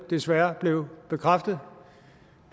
desværre blev bekræftet